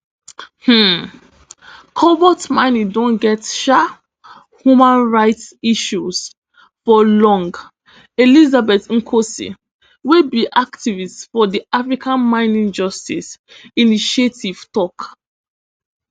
um cobalt mining don get um human rights issues for long elizabeth nkosi wey be activist for di africa mining justice initiative tok